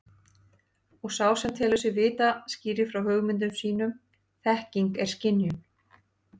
Og sá sem telur sig vita skýrir frá hugmyndum sínum þekking er skynjun.